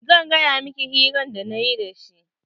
Zan gaya miki hirar da nayi da shi.